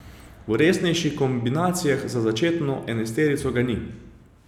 V resnejših kombinacijah za začetno enajsterico ga ni.